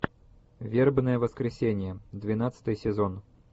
вербное воскресенье двенадцатый сезон